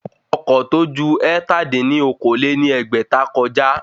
Ọkọ̀ ọ̀ tó ju ẹ̀ta dín ní okòó-lé-ní-ẹgbẹ́ta kọjá